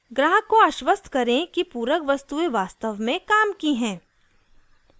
ग्राहक को आश्वस्त करें कि पूरक वस्तुएं वास्तव में काम की हैं